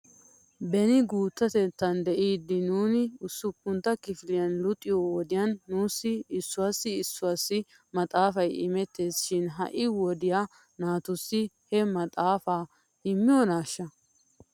Beni guuttatettan de'iiddi nuuni usuppuntta kifiliyan luxiyoo wodiyan nuussi issuwaassi issuwaassi maxaafay imettes shin ha'i wodiyaa naatussi he maxaafaa immiyoonaashsha?